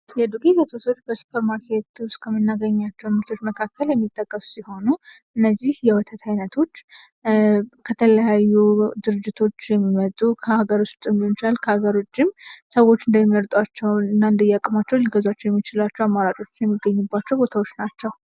የዱቄት ወተቶች በሱፐርማርኬት ውስጥ ከምናገኛቸው ምርቶች መካከል የሚጠቀሱ ሲሆኑ፤ እነዚህ የወተት አይነቶች ከተለያዩ ድርጅቶች የመጡ ከሀገር ውስጥም ሊሆን ይችላል ከሀገር ውጪ ሰዎች እንደሚመርጧቸው እና እንደየአቅማቸው እንደሚገዟቸው አማራጮች የሚገኝባቸው ቦታዎች ናቸው።